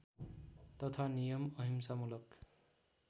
तथा नियम अहिंसामूलक